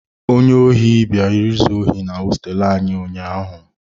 Onye ohi bịara izu ohi na hosteelu anyị ụnyahụ.